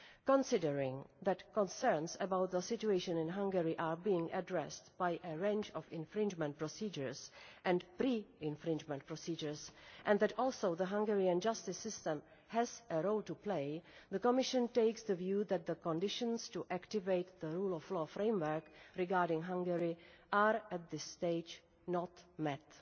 Considering that concerns about the situation in Hungary are being addressed by a range of infringement procedures and pre infringement procedures, and that also the Hungarian justice system has a role to play, the Commission takes the view that the conditions to activate the Rule of Law Framework regarding Hungary are at this stage not